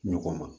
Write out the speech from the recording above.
Ɲɔgɔn ma